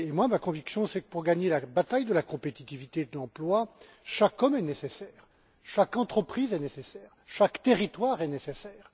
Ma conviction est que, pour gagner la bataille de la compétitivité et de l'emploi, chaque homme est nécessaire, chaque entreprise est nécessaire et chaque territoire est nécessaire.